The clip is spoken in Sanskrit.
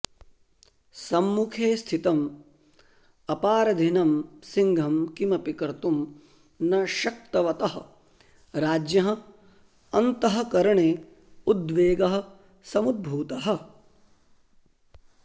सम्मुखे स्थितम् अपारधिनं सिंहं किमपि कर्तुं न शक्तवतः राज्ञः अन्तःकरणे उद्वेगः समुद्भूतः